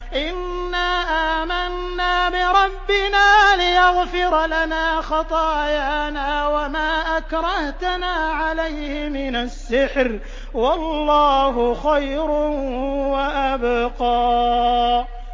إِنَّا آمَنَّا بِرَبِّنَا لِيَغْفِرَ لَنَا خَطَايَانَا وَمَا أَكْرَهْتَنَا عَلَيْهِ مِنَ السِّحْرِ ۗ وَاللَّهُ خَيْرٌ وَأَبْقَىٰ